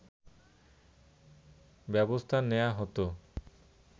ব্যবস্থা নেয়া হতো